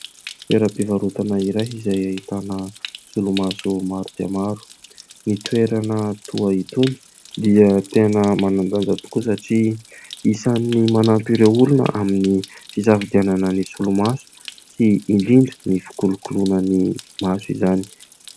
Toeram-pivarotana iray izay ahitana solomaso maro dia maro. Ny toerana toa itony dia tena manan-danja tokoa satria isany manampy ireo olona amin'ny fisafidianana ny solomaso sy indrindra ny fikolokoloana ny maso izany.